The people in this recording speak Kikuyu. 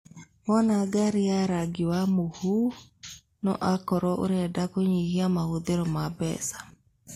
Wona ngari ya rangi wa mũhu, no akorwo ũrenda kũnyihia mahũthĩro ma mbeca.